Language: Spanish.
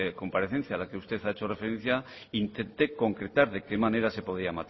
comparecencia a la que usted ha hecho referencia intenté concretar de qué manera se podía